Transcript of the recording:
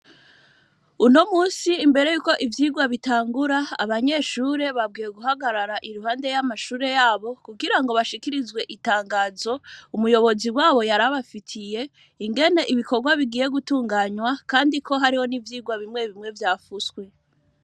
Uno munsi, imbere y'uko ivyigwa bitangura, abanyeshure babwiwe guhagarara, iruhande y'amashure yabo; kugira bashikirizwe itangazo, umuyobozi wabo yari abafitiye, ingene ibikorwa bigiye gutunganywa, kandi ko hariho n'ivyigwa bimwe bimwe, vyafuswe.